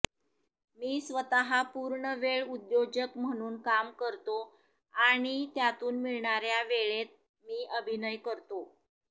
मी स्वतः पूर्णवेळ उद्योजक म्हणून काम करतो आणि त्यातून मिळणाऱ्या वेळेत मी अभिनय करतो